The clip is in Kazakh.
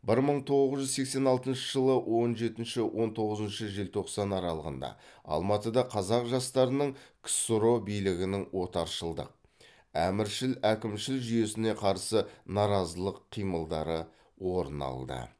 бір мың тоғыз жүз сексен алтыншы жылы он жетінші он тоғызыншы желтоқсан аралығында алматыда қазақ жастарының ксро билігінің отаршылдық әміршіл әкімшіл жүйесіне қарсы наразылық қимылдары орын алды